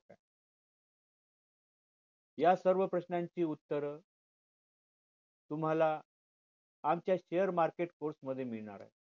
या सर्व प्रश्नांची उत्तर तुम्हाला आमच्या share market course मध्ये मिळणार आहे